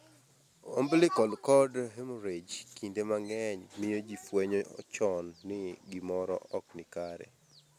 Umbilical cord hemorrhage kinde mang'eny miyo ji fwenyo chon ni gimoro ok ni kare.